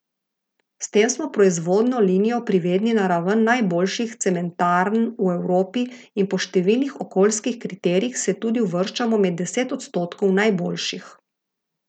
S tem smo proizvodno linijo privedli na raven najboljših cementarn v Evropi in po številnih okoljskih kriterijih se tudi uvrščamo med deset odstotkov najboljših.